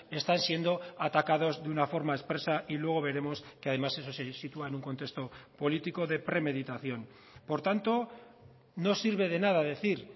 están siendo atacados de una forma expresa y luego veremos que además eso se sitúa en un contexto político de premeditación por tanto no sirve de nada decir